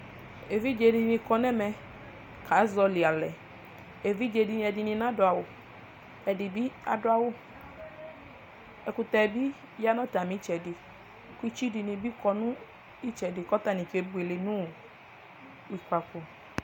Evidze di ni kɔ nʋ ɛmɛ kazɔli alɛ Evidze ni di ni nadʋ awʋ, ɛdi bi adʋ awʋ Ɛkʋtɛ bi ya nʋ atami itsɛdi, kɔ itsʋ di bi kɔ nʋ itsɛdi kʋ atani kebuele nʋ ʋkpafo